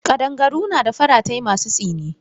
Kadangaru na da faratai masu tsini.